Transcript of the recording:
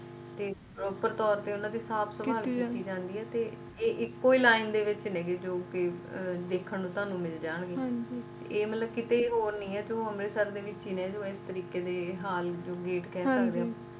ਤੇ ਉਪਰ ਤੌਰ ਤੇ ਓਹਨਾ ਦੀ ਸਾਫ਼ ਸਫਾਈ ਕੀਤੀ ਜਣਦੀ ਏ ਤੇ ਇਹ ਇੱਕੋ line ਚ ਨੇ ਜੌ ਕਿ ਦੇਖਣ ਨੂੰ ਤੁਹਾਨੂੰ ਮਿਲਣਗੇ ਇਹ ਮਤਲਬ ਕਿੱਥੇ ਹੋਰ ਨਹੀਂ ਏ ਸਿਰਫ ਅੰਮ੍ਰਿਤਸਰ ਵਿਚ ਨੇ ਜੌ ਇਸ ਤਰੀਕੇ ਦੇ gate ਕਹਿ ਸਕਦੇ ਆ